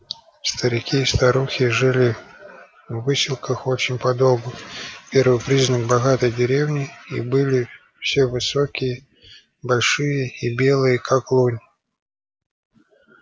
старики и старухи жили в выселках очень подолгу первый признак богатой деревни и были все высокие большие и белые как лунь